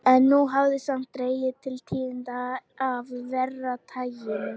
En nú hafði sem sagt dregið til tíðinda af verra taginu.